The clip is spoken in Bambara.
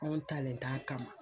Anw talen t'a a kama.